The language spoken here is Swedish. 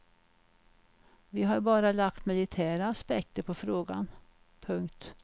Vi har bara lagt militära aspekter på frågan. punkt